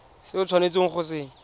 se o tshwanetseng go se